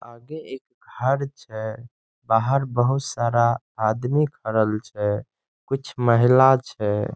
आगे एक घर छै बाहर बहुत सारा आदमी भरल छै कुछ महिला छै।